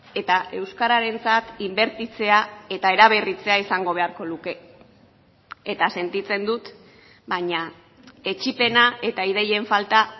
eta euskararentzat inbertitzea eta eraberritzea izango beharko luke eta sentitzen dut baina etsipena eta ideien falta